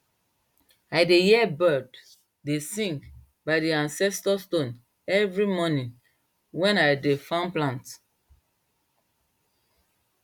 i dey hear bird dey sing by di ancestor stone every morning wen i de farm plant